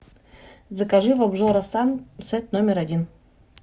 закажи в обжора сан сет номер один